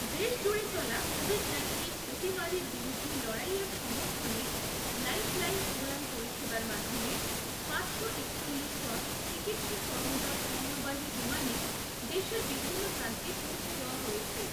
দেশজুড়ে চলা covid nineteen অতিমারীর বিরূদ্ধে লড়াইয়ের সমর্থনে লাইফলাইন উড়ান পরিষেবার মাধ্যমে, পাঁচশো একচল্লিশ টন চিকিৎসা সরঞ্জাম পণ্যবাহী বিমানে দেশের বিভিন্ন প্রান্তে পৌঁছে দেওয়া হয়েছে